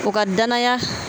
O ka danaya